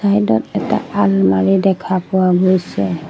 চাইদত এটা আলমাৰি দেখা পোৱা গৈছে।